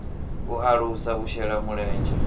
u alusa u shela mulenzhe